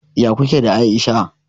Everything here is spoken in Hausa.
Ya kuke da Aisha?